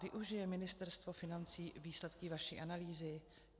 Využije Ministerstvo financí výsledky vaší analýzy?